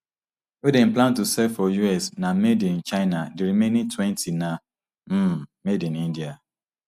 wey dem plan to sell for us na made in china di remaining twenty na um made in india